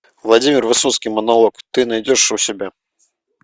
владимир высоцкий монолог ты найдешь у себя